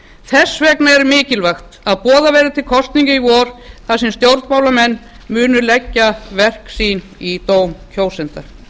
þess vegna er mikilvægt að boðað verði til kosninga í vor þar sem stjórnmálamenn munu leggja verk sín í dóm kjósenda